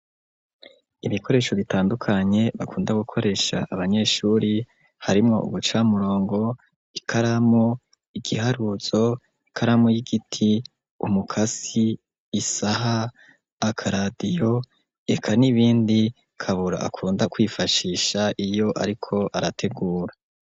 Ibikoresho bitandukanye bakunda gukoresha abanyeshure harimwo uducamurongo, ikaramo, igiharuzo, ikaramo y'igiti, umukasi, isaha, akaradiyo reka n'ibindi Kabura akunda kwifashisha iyo ariko arategura.